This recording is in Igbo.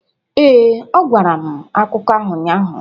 Ee, ọ gwara m akụkọ ahụ ụnyahụ.